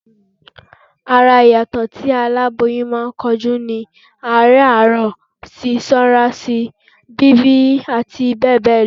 Ara ìyàtọ̀ tí aláboyún máa ń kojú ni: àárẹ̀ àárọ̀, sísanra síi, bíbì àti bẹ́ẹ̀ bẹ́ẹ̀ lọ